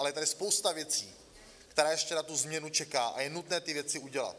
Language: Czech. Ale je tady spousta věcí, která ještě na tu změnu čeká, a je nutné ty věci udělat.